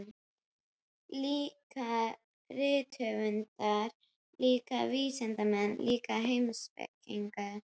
Líka rithöfundar, líka vísindamenn, líka heimspekingar.